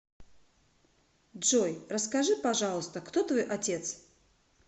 джой расскажи пожалуйста кто твой отец